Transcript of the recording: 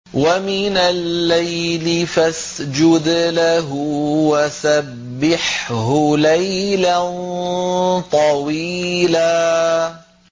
وَمِنَ اللَّيْلِ فَاسْجُدْ لَهُ وَسَبِّحْهُ لَيْلًا طَوِيلًا